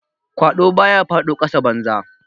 Kwado ba ya fado kasa banza.